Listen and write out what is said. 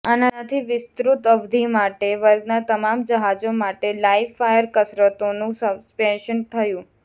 આનાથી વિસ્તૃત અવધિ માટે વર્ગના તમામ જહાજો માટે લાઇવ ફાયર કસરતોનું સસ્પેન્શન થયું